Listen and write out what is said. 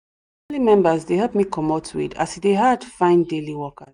na my family members dey help me comot weed as e dey hard find daily workers